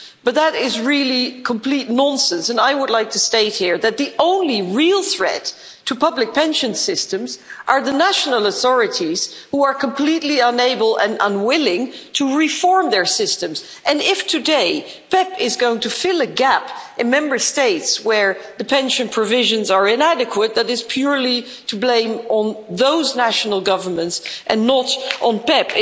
But that is really complete nonsense and I would like to state here that the only real threat to public pension systems are the national authorities, which are completely unable and unwilling to reform their systems, and if today PEPP is going to fill a gap in Member States where the pension provisions are inadequate, that is purely to blame on those national governments and not on PEPP.